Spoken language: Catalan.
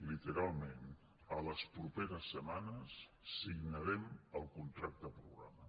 literalment en les properes setmanes signarem el contracte programa